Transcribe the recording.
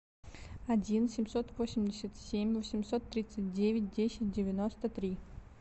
один семьсот восемьдесят семь восемьсот тридцать девять десять девяносто три